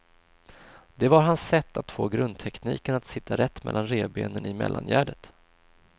Det var hans sätt att få grundtekniken att sitta rätt mellan revbenen i mellangärdet.